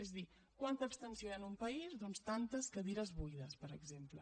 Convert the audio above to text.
és a dir quanta abstenció hi ha en un país doncs tantes cadires buides per exemple